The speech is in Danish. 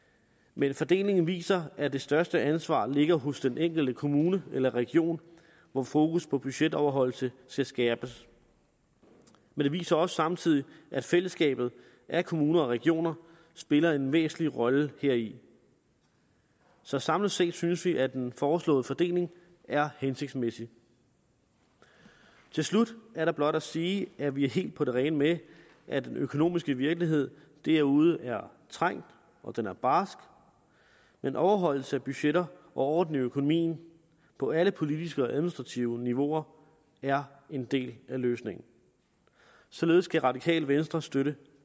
men fordelingen viser at det største ansvar ligger hos den enkelte kommune eller region hvor fokus på budgetoverholdelse skal skærpes men det viser samtidig at fællesskabet af kommuner og regioner spiller en væsentlig rolle heri så samlet set synes vi at den foreslåede fordeling er hensigtsmæssig til slut er der blot at sige at vi er helt på det rene med at den økonomiske virkelighed derude er trængt og den er barsk men overholdelse af budgetter og orden i økonomien på alle politiske og administrative niveauer er en del af løsningen således kan radikale venstre støtte